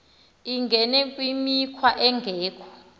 angene kwimikhwa engekho